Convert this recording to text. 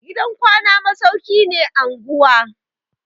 Gidan kwana masauki ne anguwa.